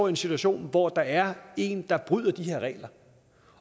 en situation hvor der er en der bryder de her regler